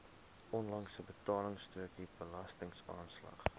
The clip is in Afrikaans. onlangse betaalstrokie belastingaanslag